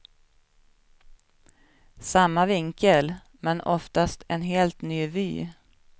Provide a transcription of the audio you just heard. Samma vinkel, men oftast en helt ny vy.